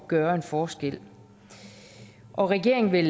gøre en forskel og regeringen vil